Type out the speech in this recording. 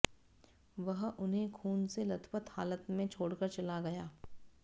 वह उन्हें खून से लथपथ हालत में छोड़कर चला गया